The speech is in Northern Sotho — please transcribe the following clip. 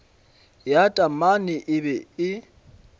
ya taamane e be e